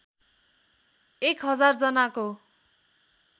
१ हजार जनाको